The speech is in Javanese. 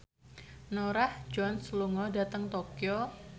Norah Jones lunga dhateng Tokyo